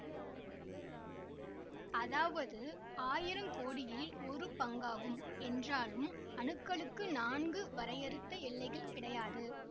அதாவது ஆயிரம் கோடியில் ஒரு பங்காகும் என்றாலும் அணுக்களுக்கு நான்கு வரையறுத்த எல்லைகள் கிடையாது